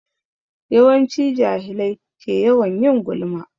Yawanci jahilai ke yawan yin gulma.